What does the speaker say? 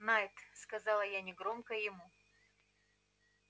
найд сказала я негромко ему